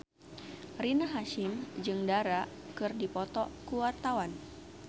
Rina Hasyim jeung Dara keur dipoto ku wartawan